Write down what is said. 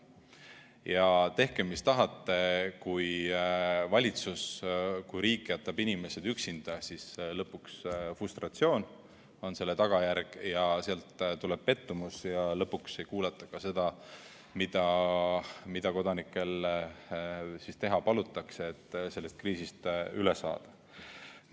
Ja tehke, mis tahate, kui valitsus, kui riik jätab inimesed üksinda, siis lõpuks on selle tagajärg frustratsioon, sealt tuleb pettumus ja lõpuks ei kuulata ka seda, mida kodanikel teha palutakse, et sellest kriisist üle saada.